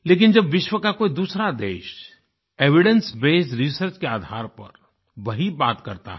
लेकिन जब विश्व का कोई दूसरा देश एविडेंस बेस्ड रिसर्च के आधार पर वही बात करता है